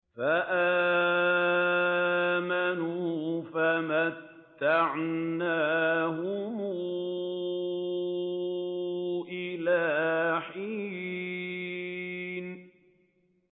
فَآمَنُوا فَمَتَّعْنَاهُمْ إِلَىٰ حِينٍ